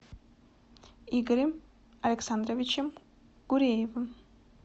игорем александровичем гуреевым